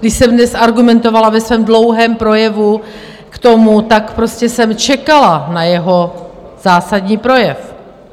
Když jsem dnes argumentovala ve svém dlouhém projevu k tomu, tak prostě jsem čekala na jeho zásadní projev.